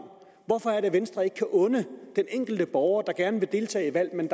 hvorfor kan venstre ikke unde den enkelte borger der gerne vil deltage i et valg men